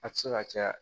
A tɛ se ka caya